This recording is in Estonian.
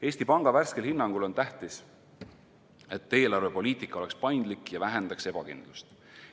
Eesti Panga värskel hinnangul on tähtis, et eelarvepoliitika oleks paindlik ja vähendaks ebakindlust.